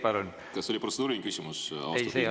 Kas see oli protseduuriline küsimus, austatud istungi juhataja?